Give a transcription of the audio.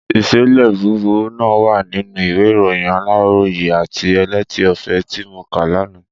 Ìṣẹ̀lẹ̀ búburú náà wà nínú ìwé ìròyìn Aláròyé àti Elétí Ọfẹ ti mo kà lánàá.